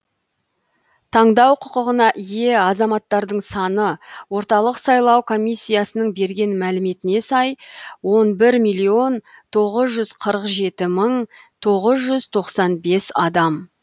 таңдау құқығына ие азаматтардың саны орталық сайлау комиссиясының берген мәліметіне сай он бір миллион тоғыз жүз қырық жеті мың тоғыз жүз тоқсан бес адам